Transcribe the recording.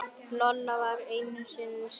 Lolla var í essinu sínu.